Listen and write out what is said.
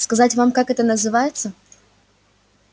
сказать вам как это называется